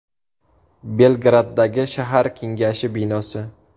Belgraddagi shahar kengashi binosi.